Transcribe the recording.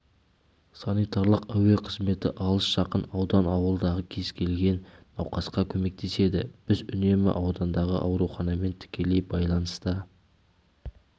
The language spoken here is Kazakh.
санитарлық әуе қызметі алыс-жақын аудан ауылдағы кез келген науқасқа көмектеседі біз үнемі аудандағы ауруханамен тікелей байланыста